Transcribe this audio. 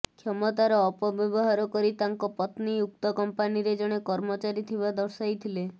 କ୍ଷମତାର ଅପବ୍ୟବହାର କରି ତାଙ୍କ ପତ୍ନୀ ଉକ୍ତ କମ୍ପାନୀରେ ଜଣେ କର୍ମଚାରୀ ଥିବା ଦର୍ଶାଇଥିଲେ